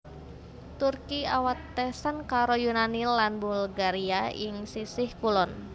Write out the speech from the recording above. Turki awatesan karo Yunani lan Bulgaria ing sisih kulon